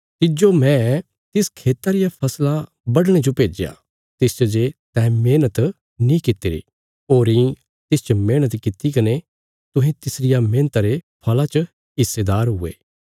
तिज्जो मैं तिस खेता रिया फसला बढणे जो भेज्या तिसच जे तैं मेहणत नीं कित्तिरी होरीं तिसच मेहणत कित्ती कने तुहें तिसरिया मेहणता रे फल़ा च हिस्सेदार हुये